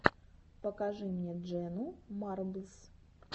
покажи мне дженну марблс